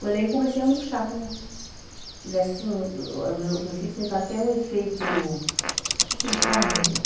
Foi daí que eu comecei a murchar, como se tivesse assim, meu meu filho sempre fala que é um efeito, como é que ele fala, meu Deus?